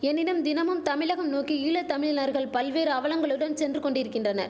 எனினும் தினமும் தமிழகம் நோக்கி ஈழ தமிழினர்கள் பல்வேறு அவலங்களுடன் சென்று கொண்டிரிக்கின்றன